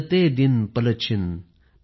गिनते दिन पलछिन